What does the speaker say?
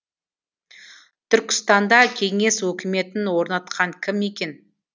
түркістанда кеңес өкіметін орнатқан кім екен